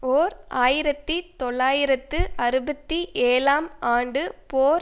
ஓர் ஆயிரத்தி தொள்ளாயிரத்து அறுபத்தி ஏழாம் ஆண்டு போர்